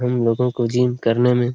हम लोगों को जिम करने में--